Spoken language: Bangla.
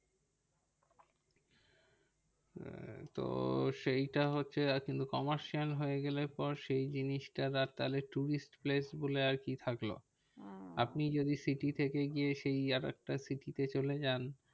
তো সেইটা হচ্ছে কিন্তু commercial হয়ে গেলে পরে সেই জিনিসটা আর তাহলে tourist places আর কি থাকলো? আপনি যদি city থেকে গিয়ে সেই আর একটা city তে চলে যান